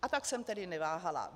A tak jsem tedy neváhala.